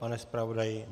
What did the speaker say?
Pane zpravodaji?